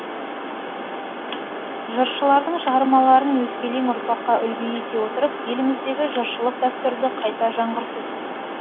жыршылардың шығармаларын өскелең ұрпаққа үлгі ете отырып еліміздегі жыршылық дәстүрді қайта жаңғырту